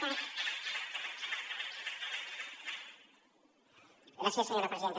gràcies senyora presidenta